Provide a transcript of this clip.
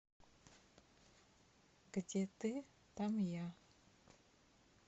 где ты там я